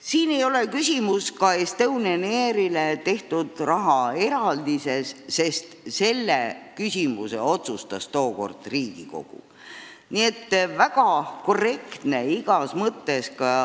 Siin ei ole küsimus ka Estonian Airile tehtud rahaeraldises, sest selle otsustas tookord Riigikogu.